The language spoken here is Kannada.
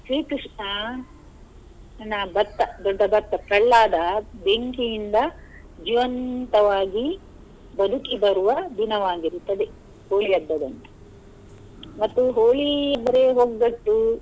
ಶ್ರೀ ಕೃಷ್ಣ ನ ಭಕ್ತ ದೊಡ್ಡ ಭಕ್ತ ಪ್ರಹ್ಲಾದ ಬೆಂಕಿಯಿಂದ ಜೀವಂತವಾಗಿ ಬದುಕಿ ಬರುವ ದಿನವಾಗಿರುತ್ತದೆ Holi ಹಬ್ಬದಂದು ಮತ್ತೆ Holi ಅಂದ್ರೆ ಒಗ್ಗಟ್ಟು.